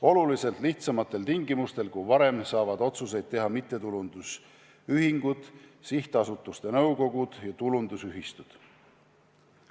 Oluliselt lihtsamatel tingimustel kui varem saavad otsuseid teha mittetulundusühingud, sihtasutuste nõukogud ja tulundusühistud.